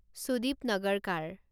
Sudip Nagarkar